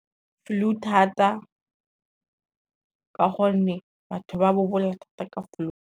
Flu thata ka gonne batho ba bobola thata ka flu.